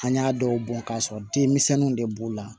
An y'a dɔw bɔn ka sɔrɔ denmisɛnninw de b'u la